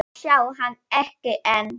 að sjá hann, ekki enn.